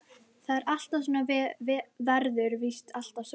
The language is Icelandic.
Það er alltaf svona og verður víst alltaf svona.